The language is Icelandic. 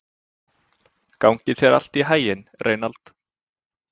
Gangi þér allt í haginn, Reynald.